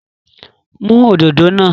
Mú òdodo náà.